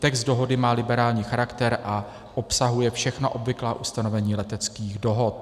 Text dohody má liberální charakter a obsahuje všechna obvyklá ustanovení leteckých dohod.